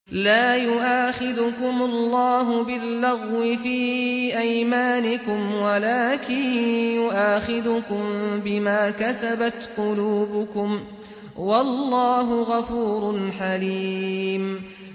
لَّا يُؤَاخِذُكُمُ اللَّهُ بِاللَّغْوِ فِي أَيْمَانِكُمْ وَلَٰكِن يُؤَاخِذُكُم بِمَا كَسَبَتْ قُلُوبُكُمْ ۗ وَاللَّهُ غَفُورٌ حَلِيمٌ